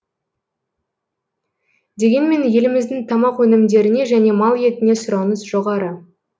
дегенмен еліміздің тамақ өнімдеріне және мал етіне сұраныс жоғары